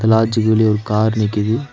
Large வியூலியு ஒரு car நிக்கிது.